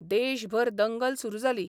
देशभर दंगल सुरू जाली.